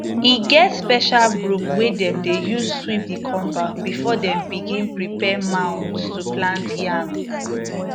e get special broom wey dem dey use sweep the compound before them begin prepare mounds to plant yam